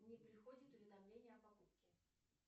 не приходит уведомление о покупке